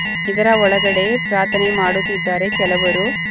ಇದರ ಒಳಗಡೆ ಪ್ರಾರ್ಥನೆ ಮಾಡುತ್ತಿದ್ದಾರೆ ಕೆಲವರು.